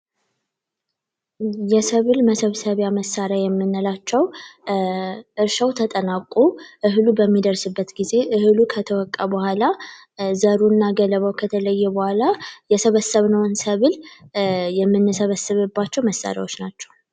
የሰብል መሰብሰቢያ መሳሪያዎች የምንላቸው እርሻው ተጠናቆ እህል በሚደርስበት ጊዜ እህሉ ከተወቃ በኋላ ዘሩና ገለባው ከተለየ በኋላ የሰበሰብነውን ሰብል የምንሰበስብባቸው መሳሪያዎች ናቸው።